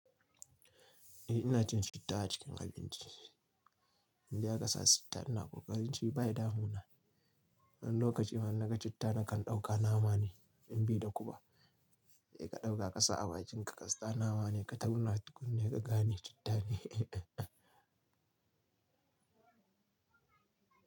Eh ina cin citta a cikin abinci In dai a kasa citta ina kokarin ci bai damu na. Wani lokacin ma na ga citta na kan ɗauka nama ne in bi da kuka. Kai ka ɗauka ƙasa a bakin ka ka sata nama ne ka tauna tukunna ka gane citta ne.